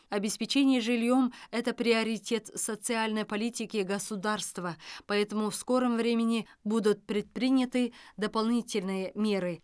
обеспечение жильем это приоритет социальной политики государства поэтому в скором времени будут предприняты дополнительные меры